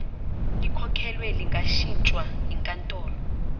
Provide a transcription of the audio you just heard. likhokhelwe lingashintshwa yinkantolo